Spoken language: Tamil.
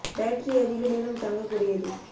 பேட்டரி அதிக நேரம் தாங்க கூடியது